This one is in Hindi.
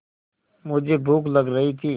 मुझे भूख लग रही थी